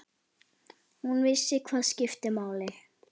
Hún vissi hvað skipti máli.